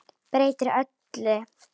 Breytir öllu.